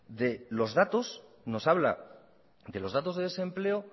de los datos nos habla de los datos de desempleo